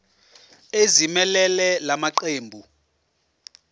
ezimelele la maqembu